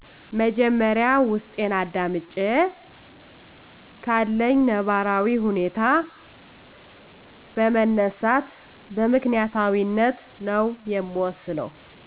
መጀመሪያ ውስጤን አዳምጨ ካለኝ ነባራዊ ሁኔታ በመነሳት በምክንያታዊነት ነዉ የምወስነው